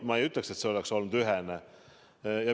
Ma ei ütleks, et see oleks olnud ühene.